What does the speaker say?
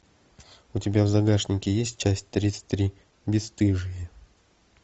у тебя в загашнике есть часть тридцать три бесстыжие